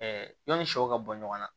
yani sɛw ka bɔ ɲɔgɔn na